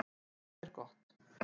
Það er gott